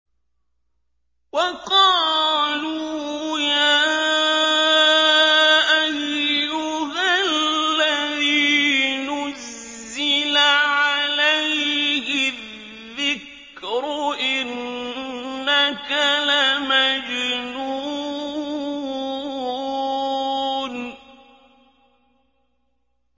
وَقَالُوا يَا أَيُّهَا الَّذِي نُزِّلَ عَلَيْهِ الذِّكْرُ إِنَّكَ لَمَجْنُونٌ